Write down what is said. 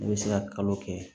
Ne bɛ se ka kalo kɛ